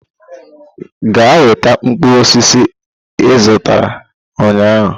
Gaa weta mkpụrụ osisi ị zụtara ụnyahụ!